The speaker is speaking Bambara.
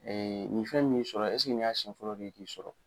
nin fɛn min y'i sɔrɔ eseke ni y'a siyɛn fɔlɔ de ye k'i sɔrɔ.